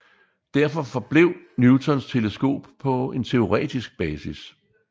Derfor forblev Newtons teleskop på en teoretisk basis